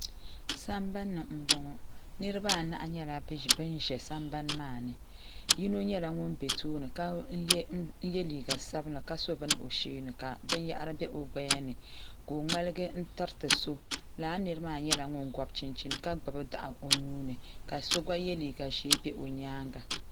Sambani m boŋɔ niriba anahi nyɛla Banza sambani maani yino nyɛla ŋun be tooni ka ye liiga sabla ka so bini o sheeni ka binyahari be o gbayani ka o ŋmaligi n tiriti so lala nira maa nyɛla ŋun gɔbi chinchini ka gbibi daɣu o nuuni ka so gba ye liiga ʒee be nyaanga .